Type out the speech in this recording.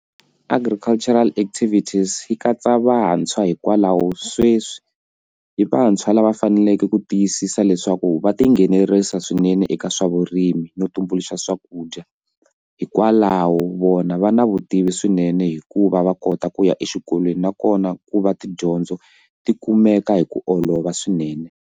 Agricultural activities yi katsa vantshwa hikwalaho sweswi hi vantshwa lava faneleke ku tiyisisa leswaku va tinghenelerisa swinene eka swa vurimi no ku tumbuluxa swakudya hikwalaho vona va na vutivi swinene hikuva va kota ku ya exikolweni nakona ku va tidyondzo ti kumeka hi ku olova swinene.